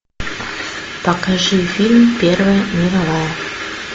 покажи фильм первая мировая